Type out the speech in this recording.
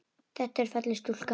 Þetta er falleg stúlka.